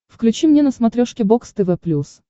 включи мне на смотрешке бокс тв плюс